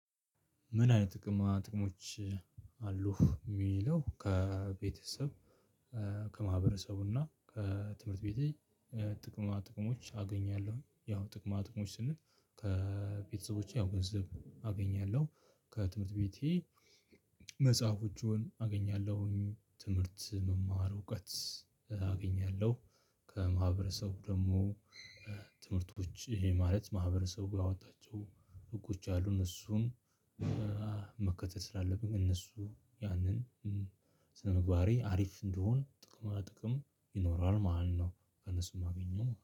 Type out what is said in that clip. ምን አይነት ጥቅማ ጥቅሞች አሉህ? እሚለው ከቤተሰብ ከማህበረሰቡና ከትምህርት ቤቴ ጥቅማ ጥቅሞች አገኛለሁኝ። ያው ጥቅማ ጥቅሞች ስንል ከቤተሰቦቼ ያው ገንዘብ አገኛለሁ። ከትምህርት ቤቴ መጽሐፎቹን አገኛለሁኝ። ትምህርት መማር እውቀት አገኛለሁ። ከማህበረሰቡ ደግሞ ትምህርቶች ይሄ ማለት ማህበረሰቡ ያወጣቸው ህጎች ያሉን እሱን። መከተል ስላለብኝ እነሱ ያንን ስነምግባሬ አሪፍ እንደሆን ጥቅማ ጥቅም ይኖራል ማለት ነው። ከእነሱ የማገኘው